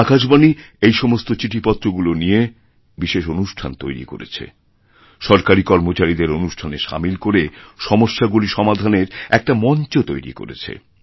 আকাশবাণী এই সমস্তচিঠিপত্রগুলি নিয়ে বিশেষ অনুষ্ঠান তৈরি করেছে সরকারী কর্মচারীদের অনুষ্ঠানে সামিলকরে সমস্যাগুলি সমাধানের একটা মঞ্চ তৈরি করেছে